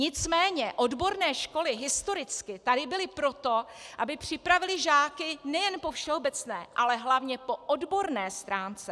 Nicméně odborné školy historicky tady byly proto, aby připravily žáky nejen po všeobecné, ale hlavně po odborné stránce.